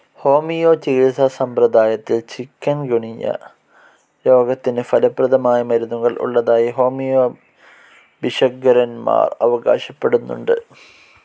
Homeo ചികിത്സാ സമ്പ്രദായത്തിൽ chikungunya രോഗത്തിന്‌ ഫലപ്രദമായ മരുന്നുകൾ ഉള്ളതായി ഹോമിയോ ഭിഷഗ്വരന്മാർ അവകാശപ്പെടുന്നുണ്ട്.